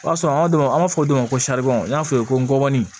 O y'a sɔrɔ an ka don an b'a fɔ don ma ko n y'a f'i ye n ŋɔni